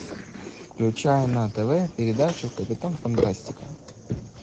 включай на тв передачу капитан фантастика